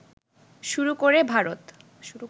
শুরু করে ভারত